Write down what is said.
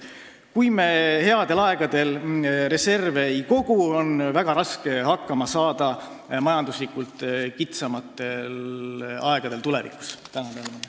Kui me headel aegadel reserve ei kogu, siis on majanduslikult kitsamatel aegadel tulevikus väga raske hakkama saada.